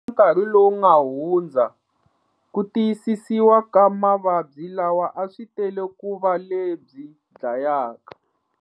Eka nkarhi lowu nga hundza, ku tiyisisiwa ka mavabyi lawa a swi tele ku va lebyi dlayaka.